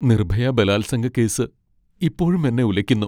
നിർഭയ ബലാത്സംഗക്കേസ് ഇപ്പോഴും എന്നെ ഉലയ്ക്കുന്നു.